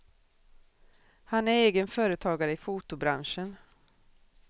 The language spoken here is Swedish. Han är egen företagare i fotobranschen.